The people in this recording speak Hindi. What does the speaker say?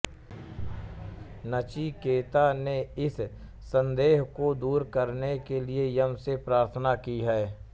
नचिकेता ने इस सन्देह को दूर करने के लिए यम से प्रार्थना की है